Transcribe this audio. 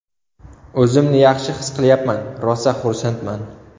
O‘zimni yaxshi his qilyapman, rosa xursandman.